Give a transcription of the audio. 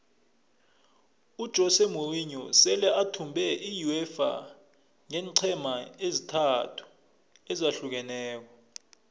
ujose morinho sele athumbe iuefa ngeenqhema ezintathu ezahlukeneko